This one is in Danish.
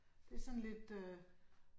Det sådan lidt øh